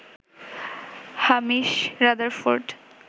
Hamish Rutherford